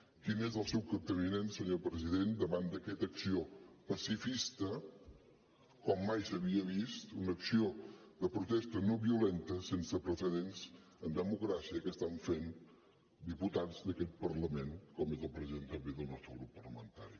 quin és el seu capteniment senyor president davant d’aquesta acció pacifista com mai s’havia vist una acció de protesta no violenta sense precedents en democràcia que estan fent diputats d’aquest parlament com és el president també del nostre grup parlamentari